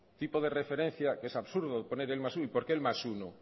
tipo de referencia que es absurdo poner el más uno y por qué el más uno